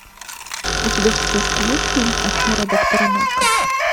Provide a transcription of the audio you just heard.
у тебя в списке есть фильм афера доктора нока